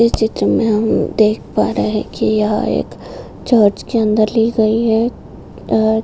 ये चित्र में हम देख पा रहे है कि यह एक चर्च के अंदर ली गई है और --